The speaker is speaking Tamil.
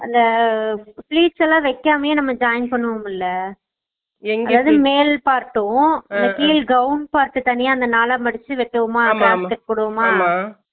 அந்த fleats எல்லாம் வெக்காமாயே நம்ம join பண்ணுவோம்ல silent அதும் மேல் part உம் கீழ் gown part தனியா நாள மடுச்சு வெப்போம்மா ஆம்மா